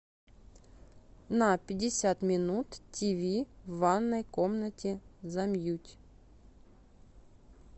на пятьдесят минут тиви в ванной комнате замьють